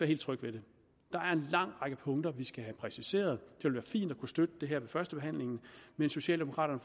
helt tryg ved det der er en lang række punkter vi skal have præciseret det ville være fint at kunne støtte det her ved førstebehandlingen men socialdemokraterne